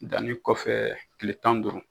Danni kɔfɛ tile tan ni duuru